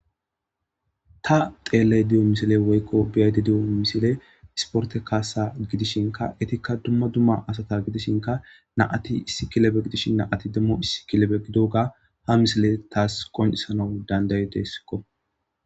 Ta xeelley diyo misile woykko beyadi di'o misile isporte kaasa gidishinka etikka dumma dumma asata gidishinka naati issi kilebe gidishin naati demmo issi kilebe gidoga ha misile taas qonisanau dandayedesikko.